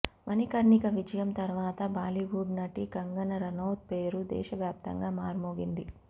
మణికర్ణిక విజయం తర్వాత బాలీవుడ్ నటి కంగన రనౌత్ పేరు దేశవ్యాప్తంగా మార్మోగింది